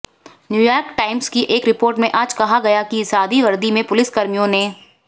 New York Times की एक report में आज कहा गया कि सादी वर्दी में पुलिसकर्मियों ने